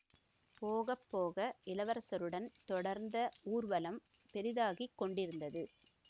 போக போக இளவரசருடன் தொடர்ந்த ஊர்வலம் பெரிதாகி கொண்டிருந்தது